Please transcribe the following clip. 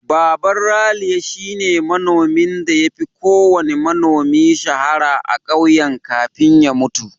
Baban Raliya shine manomin da ya fi kowanne manomi shahara a ƙauyen kafin ya mutu.